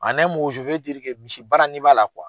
misi baara ni b'a la